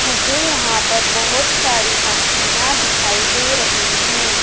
मुझे यहां पर बहोत सारी मछलियां दिखाई दे रही हैं।